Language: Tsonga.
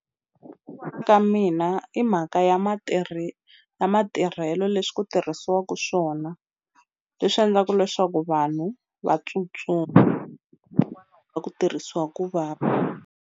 ka mina i mhaka ya ya matirhelo leswi tirhisiwaku swona leswi endlaku leswaku vanhu va tsutsuma ku tirhisiwa ku va va.